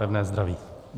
Pevné zdraví!